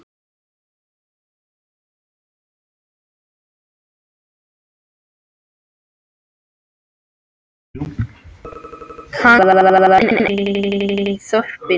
Kannski var enginn eftir í þorpinu.